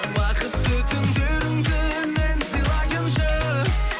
бақытты түндеріңді мен сыйлайыншы